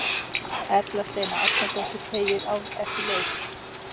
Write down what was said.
Erla Steina Arnardóttir teygir á eftir leik.